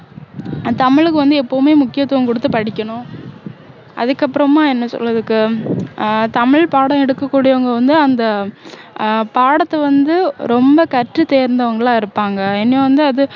தமிழுக்கு வந்து எப்போவுமே முக்கியத்துவம் கொடுத்து படிக்கணும் அதுக்கப்பறமா என்ன சொல் இதுக்கு இப்போ ஆஹ் தமிழ் பாடம் எடுக்ககூடியவங்க வந்து அந்த ஆஹ் பாடத்தை வந்து ரொம்ப கற்று தேர்ந்தவங்களா இருப்பாங்க ஏன்னா வந்து அது